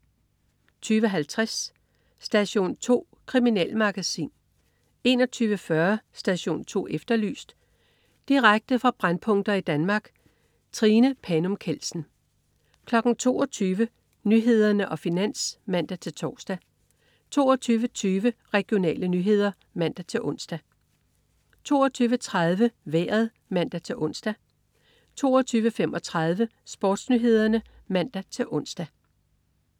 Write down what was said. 20.50 Station 2. Kriminalmagasin 21.40 Station 2 Efterlyst. Direkte fra brændpunkter i Danmark. Trine Panum Kjeldsen 22.00 Nyhederne og Finans (man-tors) 22.20 Regionale nyheder (man-ons) 22.30 Vejret (man-ons) 22.35 SportsNyhederne (man-ons)